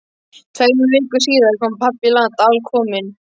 Tveimur vikum síðar kom pabbi í land, alkominn.